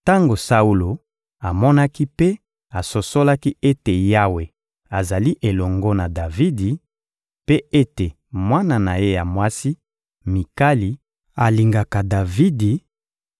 Tango Saulo amonaki mpe asosolaki ete Yawe azali elongo na Davidi, mpe ete mwana na ye ya mwasi, Mikali, alingaka Davidi,